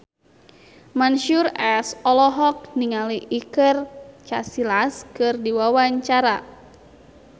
Mansyur S olohok ningali Iker Casillas keur diwawancara